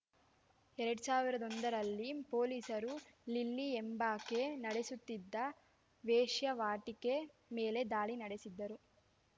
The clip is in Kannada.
ಎರಡ್ ಸಾವಿರದ ಒಂದರಲ್ಲಿ ಪೊಲೀಸರು ಲಿಲ್ಲಿ ಎಂಬಾಕೆ ನಡೆಸುತ್ತಿದ್ದ ವೇಶ್ಯಾವಾಟಿಕೆ ಮೇಲೆ ದಾಳಿ ನಡೆಸಿದ್ದರು